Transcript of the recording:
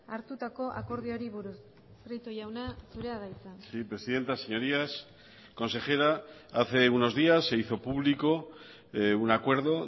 hartutako akordioari buruz prieto jauna zurea da hitza sí presidenta señorías consejera hace unos días se hizo público un acuerdo